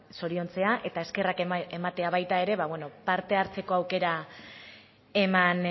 zoriontzea eta eskerrak ematea baita ere parte hartzeko aukera eman